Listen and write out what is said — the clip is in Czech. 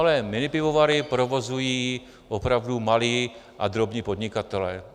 Ale minipivovary provozují opravdu malí a drobní podnikatelé.